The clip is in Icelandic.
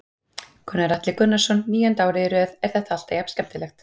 Gunnar Atli Gunnarsson: Níunda árið í röð, er þetta alltaf jafn skemmtilegt?